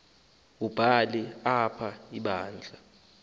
wubhale apha ibandla